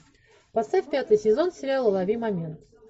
поставь пятый сезон сериала лови момент